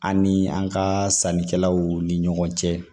Ani an ka sannikɛlaw ni ɲɔgɔn cɛ